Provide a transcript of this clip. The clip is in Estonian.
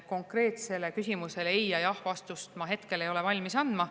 Konkreetsele küsimusele ei- või jah-vastust ma hetkel ei ole valmis andma.